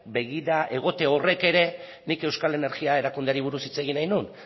begira egote horrek ere nik euskal energia erakundeari buruz hitz egin nahi nuen